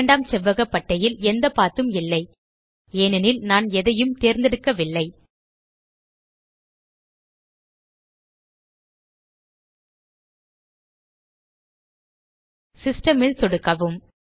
இரண்டாம் செவ்வக பட்டையில் எந்த பத் உம் இல்லை ஏனெனில் நான் எதையும் தேர்ந்தெடுக்கவில்லை சிஸ்டம் ல் சொடுக்கவும்